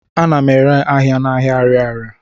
Ana m ere ahịa n'ahịa Arịarịa.